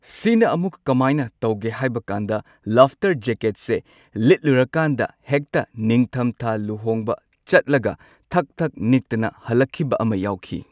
ꯁꯤꯅ ꯑꯃꯨꯛ ꯀꯃꯥꯏꯅ ꯇꯧꯒꯦ ꯍꯥꯏꯕꯀꯥꯟꯗ ꯂꯥꯐꯇꯔ ꯖꯦꯛꯀꯦꯠꯁꯦ ꯂꯤꯠꯂꯨꯔꯀꯥꯟꯗ ꯍꯦꯛꯇ ꯅꯤꯡꯊꯝꯊꯥ ꯂꯨꯍꯣꯡꯕ ꯆꯠꯂꯒ ꯊꯛ ꯊꯛ ꯅꯤꯛꯇꯅ ꯍꯜꯂꯛꯈꯤꯕ ꯑꯃ ꯌꯥꯎꯈꯤ꯫